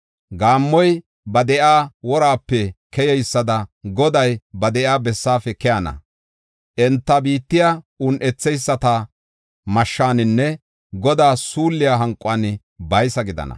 Gaammoy ba de7iya worape keyeysada Goday ba de7iya bessaafe keyana. Enta biittay un7etheyisata mashshaninne Godaa suulliya hanquwan baysa gidana.